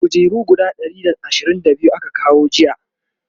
kujeru guda Ɗari da ashirin da biyu aka kawo jiya